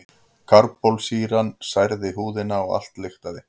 Karbólsýran særði húðina og allt lyktaði.